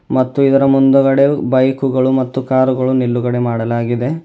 ಮತ್ತು ಇದರ ಮುಂದುಗಡೆ ಬೈಕ್ ಗಳು ಮತ್ತು ಕಾರು ಗಳು ನಿಲುಗಡೆ ಮಾಡಲಾಗಿದೆ.